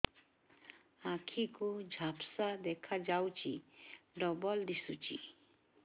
ଆଖି କୁ ଝାପ୍ସା ଦେଖାଯାଉଛି ଡବଳ ଦିଶୁଚି